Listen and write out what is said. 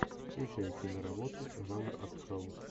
включай киноработу жанр артхаус